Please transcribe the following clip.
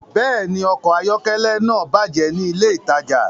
Bẹ́ẹ̀ni, ọkọ̀ ayọ́kẹ́lẹ́ náà bàjẹ́ ní ilé-ìtajà.